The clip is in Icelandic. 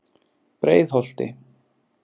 Breiðholti